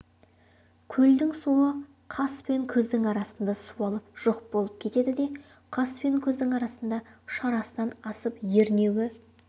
көлдің суы қас пен көздің арасында суалып жоқ болып кетеді де қас пен көздің арасында шарасынан асып ернеуі